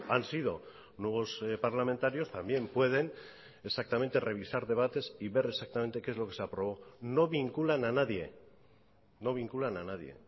han sido nuevos parlamentarios también pueden exactamente revisar debates y ver exactamente que es lo que se aprobó no vinculan a nadie no vinculan a nadie